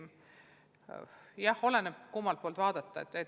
Samas oleneb, kummalt poolt vaadata.